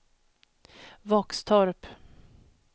Våxtorp